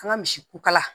An ka misi kukala